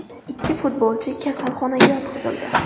Ikki futbolchi kasalxonaga yotqizildi .